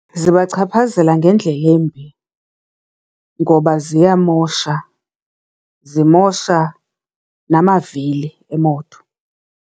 Zibachaphazela ngendlela embi ngoba ziyamosha zimosha namavili emoto.